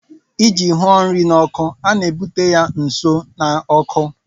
ịji hụo nri n' oku a na-ebute ya nso na ọkụ